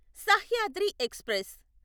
Sahyadri express